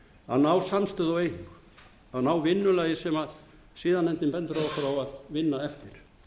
að ná samstöðu og að ná vinnulagi sem siðanefnd bendir okkur á að vinna eftir